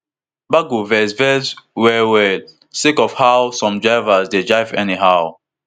baggo vex vex wellwell sake of how some drivers dey drive anyhow